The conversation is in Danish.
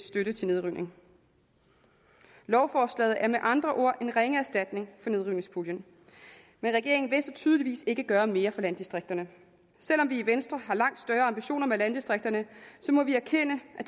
støtte til nedrivning lovforslaget er med andre ord en ringe erstatning for nedrivningspuljen men regeringen vil tydeligvis ikke gøre mere for landdistrikterne selv om vi i venstre har langt større ambitioner med landdistrikterne må vi erkende at